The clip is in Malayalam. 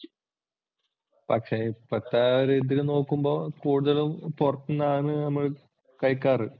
പക്ഷെ ഇപ്പോഴത്തെ ഒരിതിൽ നോക്കുമ്പോൾ കൂടുതലും പുറത്തൂന്നാണ് നമ്മൾ കഴിക്കാറ്.